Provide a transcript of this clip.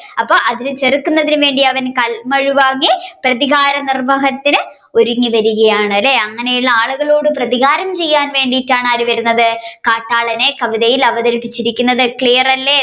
അപ്പൊ അതിനെ ചെറുക്കുന്നതിന് വേണ്ടി അവൻ കൽമഴു വാങ്ങി പ്രതികാരനിർവഹണത്തിന് ഒരുങ്ങിവരുകയാണ് അല്ലെ അങ്ങനെയുള്ള ആളുകളോട് പ്രതികാരം ചെയ്യാൻ വേണ്ടിട്ടാണ് ആര് വരുന്നത് കാട്ടാളനെ കവിതയിൽ അവതരിപ്പിച്ചിരിക്കുന്നത് clear അല്ലെ